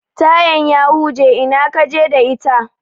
Tayan ya huje, ina kaje da ita?